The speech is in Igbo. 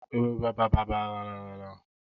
French fraịz bụ nduku e bere kịrịrịrị ma ghee eghe.